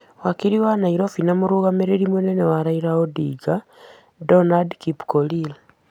Wakiri wa Nairobi na mũrũmĩrĩri mũnene wa Raila Odinga , Donald Kipkorir.